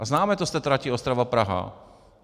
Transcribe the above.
A známe to z té trati Ostrava-Praha.